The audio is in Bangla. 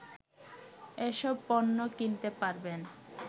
এসব পণ্য কিনতে পারবেন